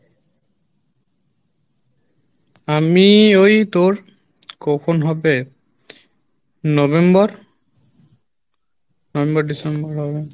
আমি ওই তোর কখন হবে November, November December হবে